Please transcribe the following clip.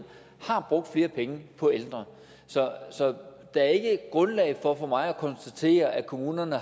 har brugt flere penge på ældre så der er ikke grundlag for for mig at konstatere at kommunerne